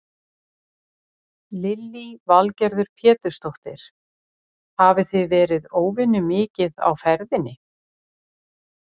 Lillý Valgerður Pétursdóttir: Hafið þið verið óvenju mikið á ferðinni?